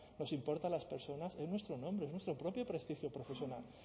nos importa a las personas es nuestro nombre es nuestro propio prestigio profesional